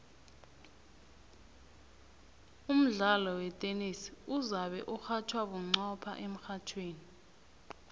umdlalo wetenesi uzabe urhatjhwa bunqopha emrhatjhweni